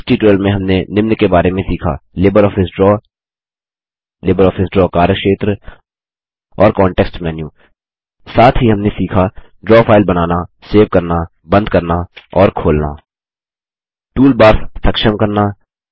इस ट्यूटोरियल में हमने निम्न के बारे में सीखा लिबरऑफिस ड्रा लिबरऑफिस ड्रा कार्यक्षेत्र और कॉन्टेक्स्ट मेन्यू साथ ही हमने सीखा160 ड्रा फाइल बनाना सेव करना बंद करना और खोलना टूलबार्स सक्षम करना